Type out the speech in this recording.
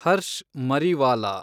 Harsh Mariwala